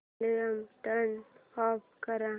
volume turn off कर